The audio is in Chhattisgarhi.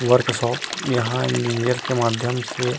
वर्क शॉप यहाँ इंजनियर के माध्यम से--